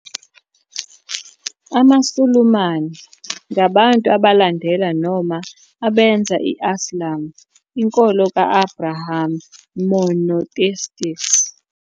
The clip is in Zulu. AmaSulumane ngabantu abalandela noma abenza i- Islam, inkolo ka -Abraham monotheistic.